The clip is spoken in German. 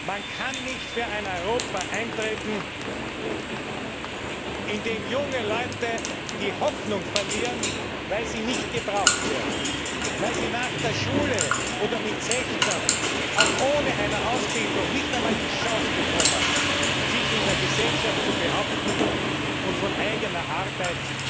Man kann nicht für ein Europa eintreten, in dem junge Leute die Hoffnung verlieren, weil sie nicht gebraucht werden, weil sie nach der Schule oder mit 16 Jahren selbst mit einer Ausbildung nicht einmal die Chance bekommen, sich in der Gesellschaft zu behaupten und von eigener Arbeit